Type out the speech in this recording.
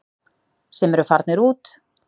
Sem eru farnir út.